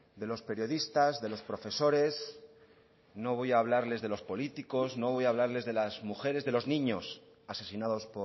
de los periodistas de los profesores no voy a hablarles de los políticos no voy a hablarles de las mujeres de los niños asesinados